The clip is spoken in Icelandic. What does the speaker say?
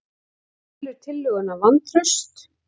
Telur tillöguna vantraust